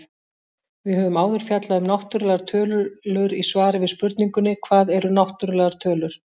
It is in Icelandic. Við höfum áður fjallað um náttúrlegar tölur í svari við spurningunni Hvað eru náttúrlegar tölur?.